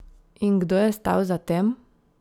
In kdo je stal za tem?